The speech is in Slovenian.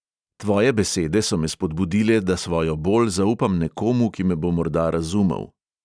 Tvoje besede so me spodbudile, da svojo bol zaupam nekomu, ki me bo morda razumel.